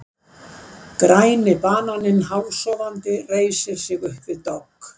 Græni bananinn hálfsofandi reisir sig upp við dogg.